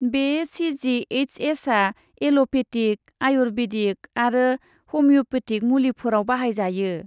बे सि.जि.एइस.एस.आ allopathic, ayurvedic आरो हमिय'पेथिक मुलिफोराव बाहायजायो।